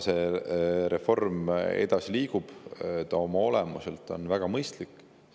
See reform liigub edasi, ta on oma olemuselt väga mõistlik.